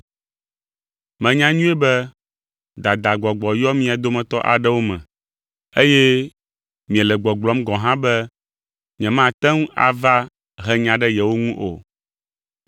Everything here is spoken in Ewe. Menya nyuie be dadagbɔgbɔ yɔ mia dometɔ aɖewo me, eye miele gbɔgblɔm gɔ̃ hã be nyemate ŋu ava he nya ɖe yewo ŋu o.